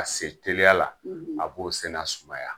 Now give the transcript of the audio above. Ka se teliya la a b'o senna sumaya.